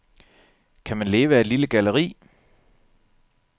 Kan man leve af et lille galleri?